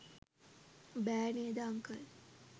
බෑ නේද අංකල්?